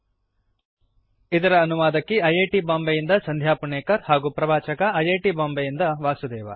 httpspoken tutorialorgNMEICT Intro ಇದರ ಅನುವಾದಕಿ I I T Bombay ಯಿಂದ ಸಂಧ್ಯಾ ಪುಣೇಕರ್ ಹಾಗೂ ಪ್ರವಾಚಕ ಐ ಐ ಟಿ ಬಾಂಬೆ ಯಿಂದ ವಾಸುದೇವ